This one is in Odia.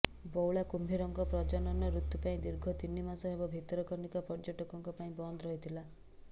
ବଉଳା କୁମ୍ଭୀରଙ୍କ ପ୍ରଜନନ ଋତୁ ପାଇଁ ଦୀର୍ଘ ତିନି ମାସ ହେବ ଭିତରକନିକା ପର୍ଯ୍ୟଟକଙ୍କ ପାଇଁ ବନ୍ଦ ରହିଥିଲା